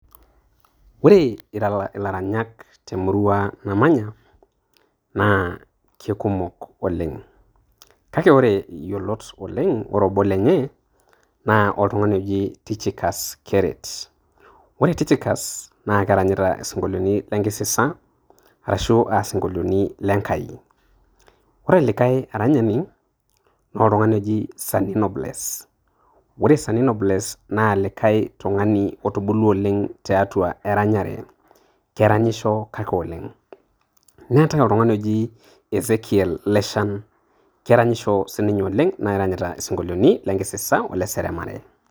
Ore ila ilaranyak temurua namanya na kekumok oleng kake ore iyiolot oleng ore oboo lenye na oltungani oji Tyticus keret, ore tyticus na keranyita isinkoloti le nkisisa ashu aa sinkolitin lenkai, ore likae aranyani na oltungani oji sanino bless ore sanino blesss na likae tungani otubulua oleng tiatua eranyare. keranyisho kake oleng. netae olikae tungani oshi ezekiel leshan keranyisho sininye oleng neranyita isinkoliotin lenkisasa ole seremare.